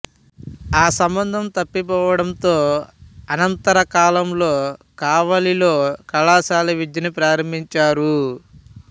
ఆ సంబంధం తప్పిపోవడంతో అనంతర కాలంలో కావలిలో కళాశాల విద్యను ప్రారంభించారు